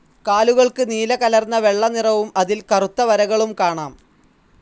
കാലുകൾക്ക് നീലകലർന്ന വെള്ള നിറവും അതിൽ കറുത്ത വരകളും കാണാം.